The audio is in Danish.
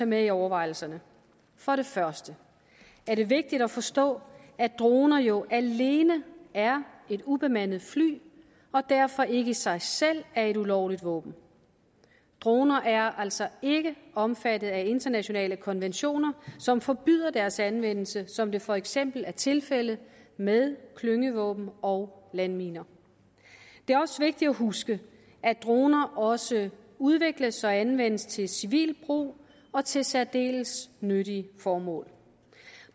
med i overvejelserne for det første er det vigtigt at forstå at droner jo alene er ubemandede fly og derfor ikke i sig selv er et ulovligt våben droner er altså ikke omfattet af internationale konventioner som forbyder deres anvendelse som det for eksempel er tilfældet med klyngevåben og landminer det er også vigtigt at huske at droner også udvikles og anvendes til civil brug og til særdeles nyttige formål